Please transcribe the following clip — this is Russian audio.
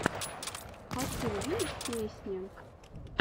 хочу увидеть песни